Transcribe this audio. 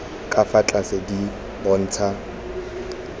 ka fa tlase di bontsha